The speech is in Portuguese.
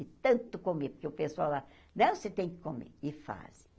De tanto comer, porque o pessoal lá... Não você tem que comer, e fazem.